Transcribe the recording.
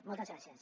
moltes gràcies